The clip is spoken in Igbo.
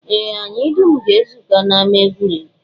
Ee, anyị dum ga-ezukọ n'ama egwuregwu